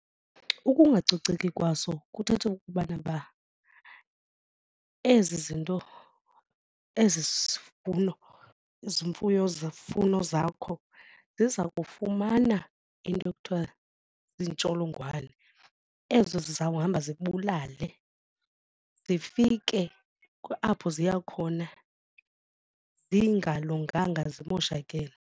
Ukungacoceki kwaso kuthetha ukubana uba ezi zinto ezi zivuno zimfuyo zifuno zakho ziza kufumana into ekuthiwa ziintsholongwane ezo zizawuhamba zibulale zifike apho ziya khona zingalunganga zimoshakele.